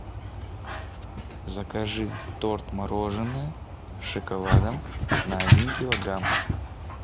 закажи торт мороженое с шоколадом на один килограмм